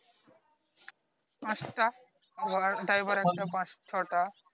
পাঁচ টা ওয়ার driver এর পাঁচ ছো টা